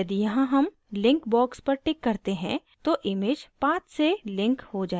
यदि यहाँ हम link box पर टिक करते हैं तो image path से link हो जाएगी